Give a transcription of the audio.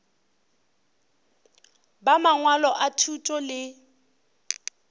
ba mangwalo a thuto le